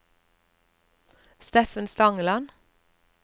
Steffen Stangeland